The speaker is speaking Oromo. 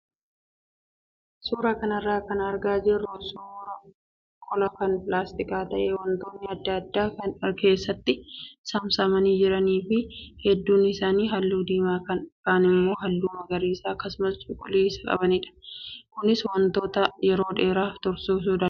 Suuraa kanarraa kan argaa jirru suuraa qola kan pilaastikaa ta'ee wantoonni adda addaa kan keessatti saamsamanii jiranii fi hedduun isaa halluu diiimaa kaan immoo halluu magariisa akkasumas cuquliisa qabanidha. Kunis wantoota yeroo dheeraaf tursuuf oola.